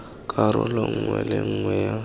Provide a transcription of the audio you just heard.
karolo nngwe le nngwe ya